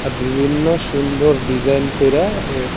বিভিন্ন সুন্দর ডিজাইন কইরা এ--